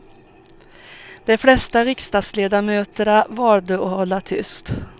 De flesta riksdagsledamöter valde att hålla tyst.